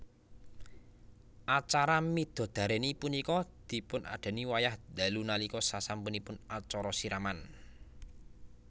Acara midodarèni punika dipunadani wayah dalu nalika sasampunipun acara siraman